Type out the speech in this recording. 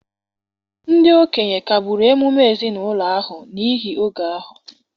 ndị okenye kagburu emume ezinụlọ ahụ n’ihi oge ahụ.